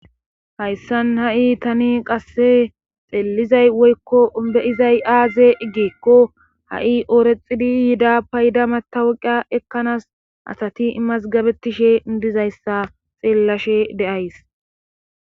Hayssan ha7i tani qasse xeellizay woykko be7izay aaze giikko ha7i ooraxidi yida payda matawuqa ekkanaas asati masgabetishe dizayssa xeellashe de7ays.